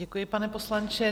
Děkuji, pane poslanče.